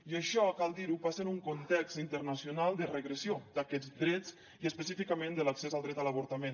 i això cal dir ho passa en un context internacional de regressió d’aquests drets i específicament de l’accés al dret a l’avortament